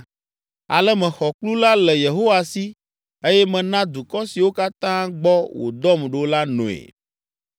Ale mexɔ kplu la le Yehowa si eye mena dukɔ siwo katã gbɔ wòdɔm ɖo la noe.